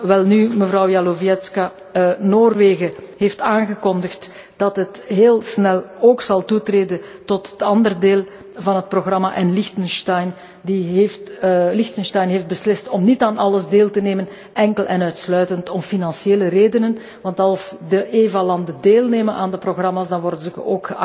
Welnu, mevrouw Jazlowiecka, Noorwegen heeft aangekondigd dat het heel snel ook zal toetreden tot het andere deel van het programma en Liechtenstein heeft beslist om niet aan alles deel te nemen, enkel en uitsluitend om financiële redenen. Want als de EVA landen deelnemen aan de programma's, dan worden zij